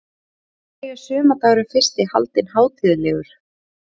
Af hverju er sumardagurinn fyrsti haldinn hátíðlegur?